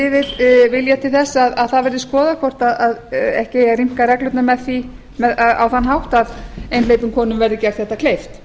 yfir vilja til þess að það verði skoðað hvort ekki eigi að rýmka reglurnar á þann hátt að einhleypum konum verði gert þetta kleift